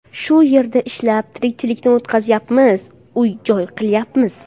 Shu yerda ishlab, tirikchilikni o‘tkazyapmiz, uy joy qilyapmiz.